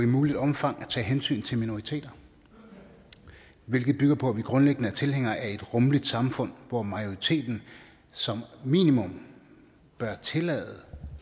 muligt omfang at tage hensyn til minoriteter hvilket bygger på at vi grundlæggende er tilhængere af et rummeligt samfund hvor majoriteten som minimum bør tillade